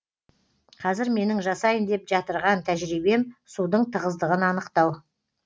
қазір менің жасайын деп жатырған тәжірибем судың тығыздығын анықтау